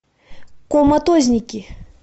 коматозники